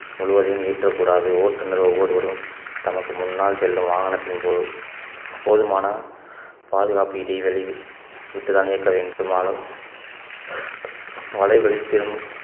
முழுவதையும் ஏற்றக்கூடாது ஓட்டுநர் ஒவ்வொருவரும் தமக்கு முன்னால் செல்லும் வாகனத்தின் போது~ போதுமான பாதுகாப்பு இடைவெளி விட்டுதான் இயக்க வேண்டுமானாலும் வலைகளில் திரும்~